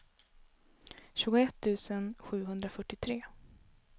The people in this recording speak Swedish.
tjugoett tusen sjuhundrafyrtiotre